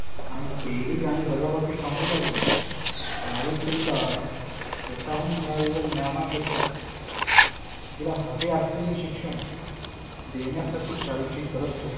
आणि बेरीज आणि वजाबाकी समजु लागली. सावित्रीला स्वतःहून मिळालेल्या ज्ञाना पेक्षा तीला हवे असलेले शिक्षण घेण्यासाठी शाळेची गरज होती.